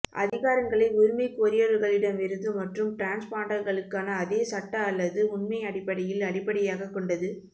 அதிகாரங்களை உரிமைகோரியவர்களிடமிருந்து மற்றும் டிரான்ஸ்பாண்டர்களுக்கான அதே சட்ட அல்லது உண்மை அடிப்படையில் அடிப்படையாகக் கொண்டது